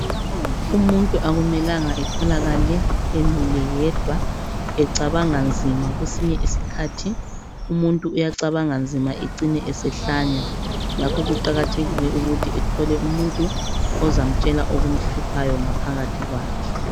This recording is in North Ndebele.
Umuntu akumelanga etholakala emile yedwa ecabanga nzima kwesinye isikhathi umuntu uyacabanga nzima ecine esehlanya ngakho kuqakathekile ukuthi athole umuntu ozamtshela okumhluphayo ngaphakathi kwakhe